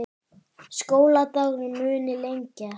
Skóladagurinn muni lengjast